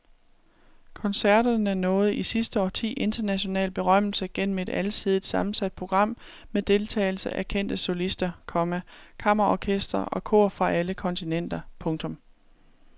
Koncerterne nåede i sidste årti international berømmelse gennem et alsidigt sammensat program med deltagelse af kendte solister, komma kammerorkestre og kor fra alle kontinenter. punktum